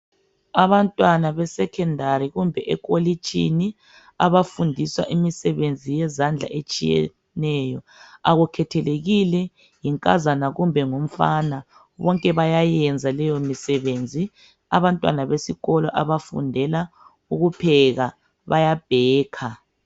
Abantwana besecondary kumbe ekolitshini abafundiswa imisebenzi yezandla etshiyeneyo akukhethelekile yinkazana kumbe ngumfana bonke bayayenza leyo misebenzi. Abantwana besikolo abafundela ukupheka bayabhekha.